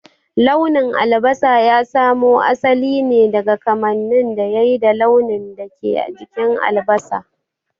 Launin albasa ya samo asali ne daga kamanin da yai da launin da ke jikin albasa.